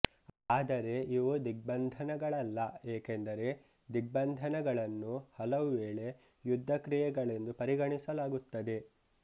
ಆದರೆ ಇವು ದಿಗ್ಬಂಧನಗಳಲ್ಲ ಏಕೆಂದರೆ ದಿಗ್ಬಂಧನಗಳನ್ನು ಹಲವುವೇಳೆ ಯುದ್ಧ ಕ್ರಿಯೆಗಳೆಂದು ಪರಿಗಣಿಸಲಾಗುತ್ತದೆ